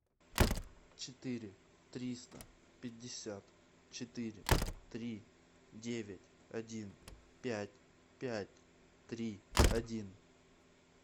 четыре триста пятьдесят четыре три девять один пять пять три один